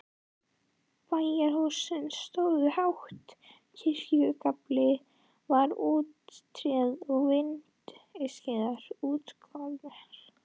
Bæjarhúsin stóðu hátt, kirkjugaflinn var úr tré og vindskeiðarnar útskornar.